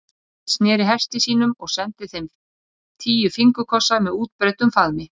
Björn sneri hesti sínum og sendi þeim tíu fingurkossa með útbreiddum faðmi.